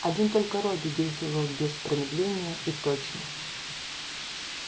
один только робби действовал без промедления и точно